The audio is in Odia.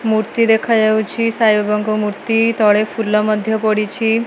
ମୃତ୍ତି ଦେଖାଯାଉଛି ସାଇ ବାବାଙ୍କ ମୃତ୍ତି ତଳେ ପୁଲ ମଧ୍ୟ୍ୟ ପଡିଛି।